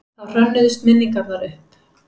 Þá hrönnuðust minningarnar upp.